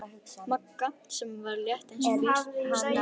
Magga, sem var létt eins og fis, sneri öfugt.